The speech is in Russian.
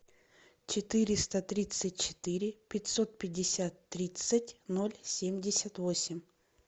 четыреста тридцать четыре пятьсот пятьдесят тридцать ноль семьдесят восемь